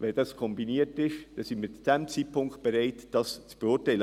Wenn das kombiniert ist, sind wir zu diesem Zeitpunkt bereit, es zu beurteilen.